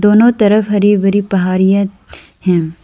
दोनों तरफ हरी भरी पहाड़ियां हैं।